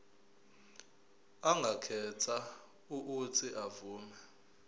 angakhetha uuthi avume